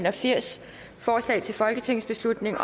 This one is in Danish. og firs forslaget til folketingsbeslutning